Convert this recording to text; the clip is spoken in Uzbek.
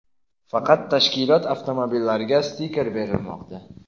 faqat tashkilot avtomobillariga stiker berilmoqda.